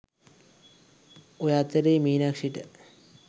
ඔය අතරෙ මීනක්ෂිට